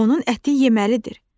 Onun əti yeməlidir.